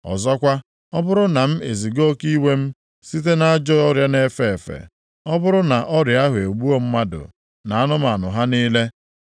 “Ọzọkwa, ọ bụrụ na m eziga oke iwe m site nʼajọ ọrịa na-efe efe, ọ bụrụ na ọrịa ahụ egbuo mmadụ na anụmanụ ha niile,